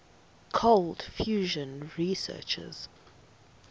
cold fusion researchers